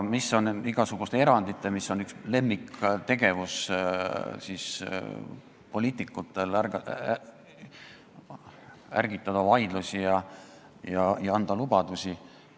Poliitikute üks lemmiktegevusi on ärgitada vaidlusi ja anda lubadusi.